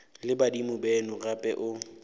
le badimo beno gape o